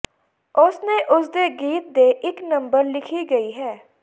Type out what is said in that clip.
ਉਸ ਨੇ ਉਸ ਦੇ ਗੀਤ ਦੇ ਇੱਕ ਨੰਬਰ ਲਿਖੀ ਗਈ ਹੈ